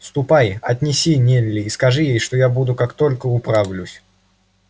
ступай отнеси нелли и скажи ей что я буду как только управлюсь